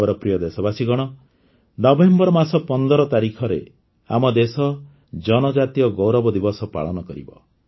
ମୋର ପ୍ରିୟ ଦେଶବାସୀଗଣ ନଭେମ୍ବର ମାସ ୧୫ ତାରିଖରେ ଆମ ଦେଶ ଜନଜାତୀୟ ଗୌରବ ଦିବସ ପାଳନ କରିବ